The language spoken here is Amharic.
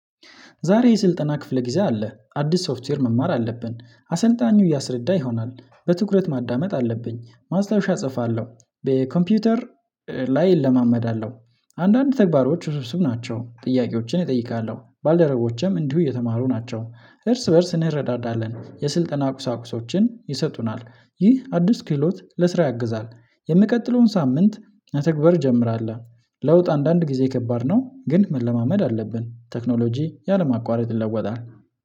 ዛሬ የስልጠና ክፍለ ጊዜ አለ አዲስ ሶፍትዌር መማር አለብን። አሰልጣኙ እያስረዳ ይሆናል በትኩረት ማዳመጥ አለብኝ ማስታወሻ እጽፋለሁ። በኮምፒውተር ላይ እለማመዳለሁ። አንዳንድ ተግባሮች ውስብስብ ናቸው ጥያቄዎችን እጠይቃለሁ ባልደረቦቼም እንዲሁ እየተማሩ ናቸው። እርስ በእርስ እንረዳዳለን የስልጠና ቁሳቁሶችን ይሰጡናል። ይህ አዲስ ክህሎት ለስራ ያግዛል። የሚቀጥለውን ሳምንት መተግባር ጀምራለህ። ለውጥ አንዳንድ ጊዜ ከባድ ነው ግን መለማመድ አለብን። ቴክኖሎጂ ያለ ማቋረጥ ይለወጣል